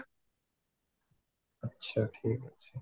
ଆଚ୍ଛା ଠିକ ଅଛି